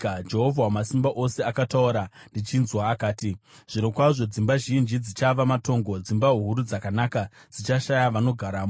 Jehovha Wamasimba Ose akataura ndichinzwa akati, “Zvirokwazvo dzimba zhinji dzichava matongo, dzimba huru dzakanaka dzichashaya vanogaramo.